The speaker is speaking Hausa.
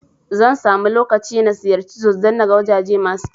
Zan samu lokaci na ziyarci Jos don naga wajaje masu kyau